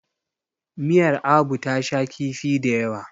miyar Abu ta sha kifi da yawa